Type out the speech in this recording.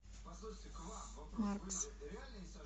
маркс